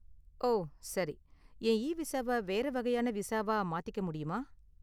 ஓ, சரி. என் இவிசாவ வேற வகையான விசாவா மாத்திக்க முடியுமா?